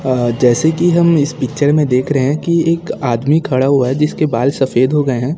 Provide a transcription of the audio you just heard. अह जैसे कि हम इस पिक्चर में देख रहे हैं कि एक आदमी खड़ा हुआ है जिसके बाल सफेद हो गए हैं।